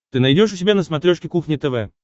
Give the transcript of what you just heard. ты найдешь у себя на смотрешке кухня тв